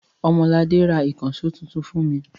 Ọmọladé ra ìkànṣó tuntun fún mi.